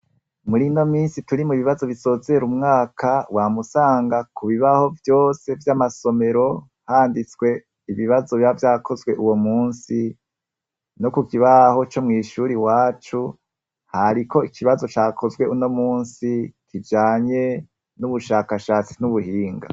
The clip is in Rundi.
Murino minsi turi mubibazo bisozera umwaka ,wama usanga kubibaho vyose vy'amasomero handitswe ibibazo biba vyakozwe uwomusi, no kukibaho comw'ishure iwacu hariko ikibazo cakozwe unomunsi kijanye nubushakashatsi ,n'ubuhinga.